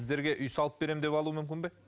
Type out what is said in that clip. сіздерге үй салып беремін деп алуы мүмкін бе